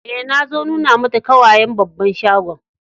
Eh, na so nuna mata kawayen babban shagon.